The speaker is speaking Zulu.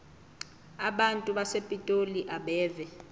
abantu basepitoli abeve